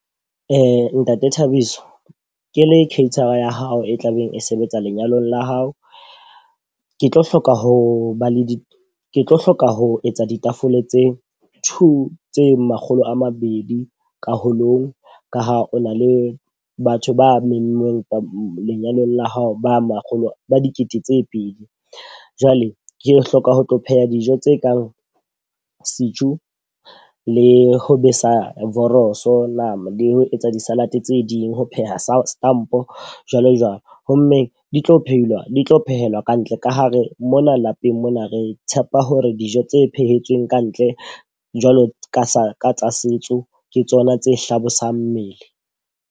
Ntate Thabiso, ke le caterer ya hao e tlabeng e sebetsa lenyalong la hao. Ke tlo hloka ho ba le tlo hloka ho etsa ditafole tse two tse makgolo a mabedi ka holong. Ka ha o na le batho ba memmeng lenyalong la hao ba makgolo ba dikete tse pedi. Jwale ke hloka ho tlo pheha dijo tse kang setjhu le ho besa voroso, nama le ho etsa di-salad tse ding ho pheha setampo jwalo jwalo. Ho mmeng di tlo phehiwa, di tlo phehela ka ntle. Ka ha re mona lapeng mona re tshepa hore dijo tse phetsweng ka ntle jwalo ka sa tsa setso ke tsona tse hlabosang mmele.